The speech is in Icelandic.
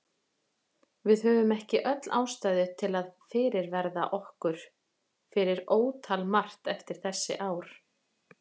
Höfum við ekki öll ástæðu til að fyrirverða okkur fyrir ótal margt eftir þessi ár?